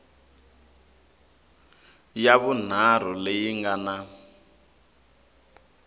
ya vunharhu leyi nga na